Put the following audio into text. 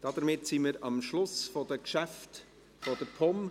Damit sind wir am Schluss der Geschäfte der POM angelangt.